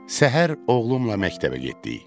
Səhər oğlumla məktəbə getdik.